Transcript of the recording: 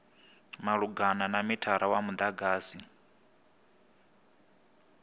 malugana na mithara wa mudagasi